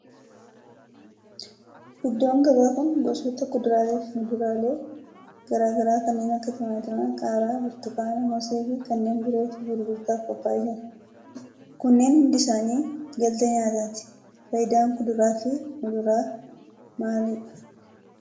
Iddoon gabaa kun gosoota kuduraalee fi muduraalee garaa garaa kanneen akka timaatima, qaaraa, burtukaana, moosee fi kanneen birootu gurgurtaaf qophaa'ee jira. Kunneen hundi isaanii galtee nyaatati. Faayidaan kuduraa fi muduraa maalidha?